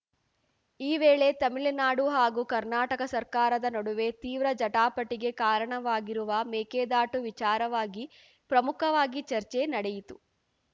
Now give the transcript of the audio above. ಈ ವೇಳೆ ತಮಿಳುನಾಡು ಹಾಗೂ ಕರ್ನಾಟಕ ಸರ್ಕಾರದ ನಡುವೆ ತೀವ್ರ ಜಟಾಪಟಿಗೆ ಕಾರಣವಾಗಿರುವ ಮೇಕೆದಾಟು ವಿಚಾರವಾಗಿ ಪ್ರಮುಖವಾಗಿ ಚರ್ಚೆ ನಡೆಯಿತು